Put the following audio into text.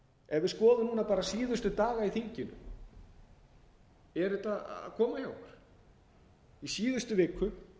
erum við búin að læra eitthvað á þessu ef við skoðum núna bara síðustu daga í þinginu er þetta að koma hjá okkur í síðustu viku